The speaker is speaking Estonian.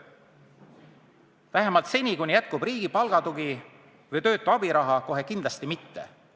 Vähemalt mitte seni, kuni jätkub riigi palgatugi või töötu abiraha – kohe kindlasti mitte!